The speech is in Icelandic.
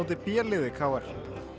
b liði k r